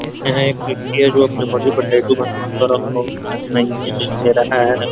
यहां एक व्यक्ति है जो अपने बॉडी पर टैटू बनवा कर रखा है।